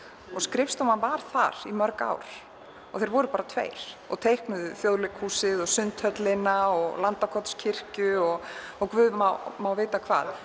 skrifstofan var þar í mörg ár og þeir voru bara tveir og teiknuðu Þjóðleikhúsið Sundhöllina Landakotskirkju og og guð má má vita hvað